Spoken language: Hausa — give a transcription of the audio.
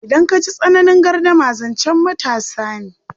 Idan ka ji tsananin gardama, zancen matasa ne.